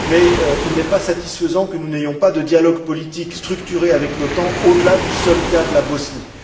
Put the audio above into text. Mais il n'est pas satisfaisant que nous n'ayons pas de dialogue politique structuré avec l'OTAN au delà du seul cas de la Bosnie.